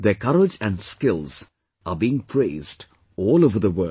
Their courage and skills are being praised all over the world